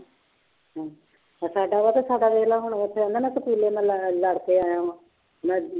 ਸਾਡਾ ਵਾ ਤੇ ਸਾਡਾ ਦੇਖ ਲਾ ਹੁਣ ਕਹਿੰਦਾ ਮੈਂ ਸਕੂਲੇ ਮੈਂ ਲ ਲੜਕੇ ਆਇਆ ਵਾਂ ਮੈਂ